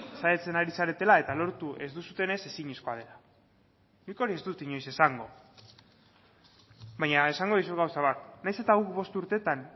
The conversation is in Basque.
saiatzen ari zaretela eta lortu ez duzuenez ezinezkoa dela nik hori ez dut inoiz esango baina esango dizut gauza bat nahiz eta guk bost urtetan